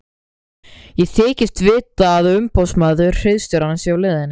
Ég þykist vita að umboðsmaður hirðstjórans sé á leiðinni.